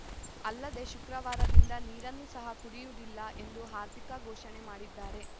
ಅಲ್ಲದೆ ಶುಕ್ರವಾರದಿಂದ ನೀರನ್ನು ಸಹ ಕುಡಿಯುವುದಿಲ್ಲ ಎಂದು ಹಾರ್ದಿಕ್‌ ಘೋಷಣೆ ಮಾಡಿದ್ದಾರೆ